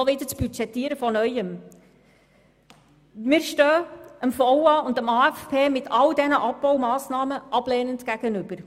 Wir stehen dem VA und dem AFP mit all diesen Abbaumassnahmen ablehnend gegenüber.